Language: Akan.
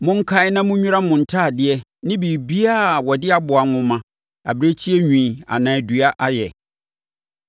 Monkae na monnwira mo ntadeɛ ne biribiara a wɔde aboa nwoma, abirekyie nwi anaa dua ayɛ.”